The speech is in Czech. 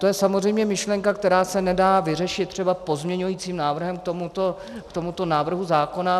To je samozřejmě myšlenka, která se nedá vyřešit třeba pozměňovacím návrhem k tomuto návrhu zákona.